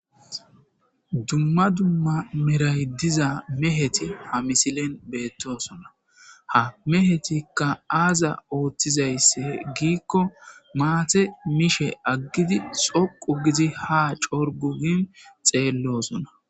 dumma dumma meray diza meheti ha misilen beettosona ha mehetikka aaza ooththizaysse giikko maate mishe aggidi xoqu gizi ha corgu gin xeellosona